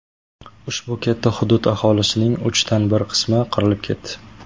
Ushbu katta hudud aholisining uchdan bir qismi qirilib ketdi.